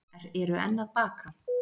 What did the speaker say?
Eru enn að baka